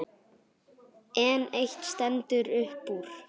En eitt stendur upp úr.